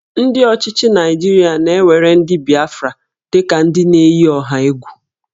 Ndị ọchịchị Naịjirịa na-ewere ndị Bịafra dị ka ndị na-eyi ọha egwu